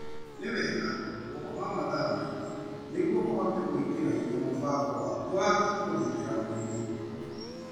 Nĩ wega gũkoma mathaa maingĩ nĩguo ũhote gwĩkĩra hinya mũbango waku wa kũgitĩra mwĩrĩ.